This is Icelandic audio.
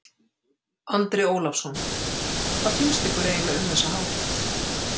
Andri Ólafsson: Hvað finnst ykkur eiginlega um þessa hátíð?